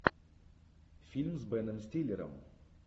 фильм с беном стиллером